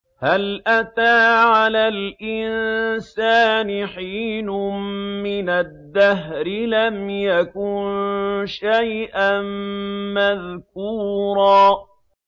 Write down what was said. هَلْ أَتَىٰ عَلَى الْإِنسَانِ حِينٌ مِّنَ الدَّهْرِ لَمْ يَكُن شَيْئًا مَّذْكُورًا